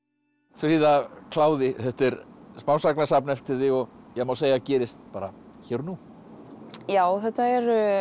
fríða kláði þetta er smásagnasafn eftir þig má segja að gerist bara hér og nú já þetta eru